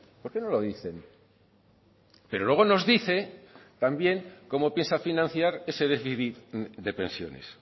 por qué no lo dicen pero luego nos dice también cómo piensa financiar ese déficit de pensiones